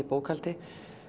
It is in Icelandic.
bókhaldi